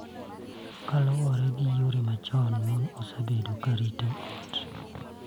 Kaluwore gi yore machon, mon osebedo ka rito ot,